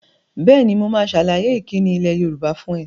Bẹ́ẹ̀ni, mo máa sàlàyé ìkíni ilẹ̀ Yorùbá fún ẹ